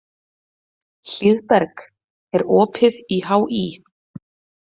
Hlíðberg, er opið í HÍ?